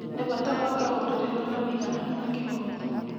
Nĩ bata gwaka rũrĩrĩ rwĩna ũigananu na kĩhooto.